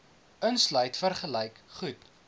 insluit vergelyk goed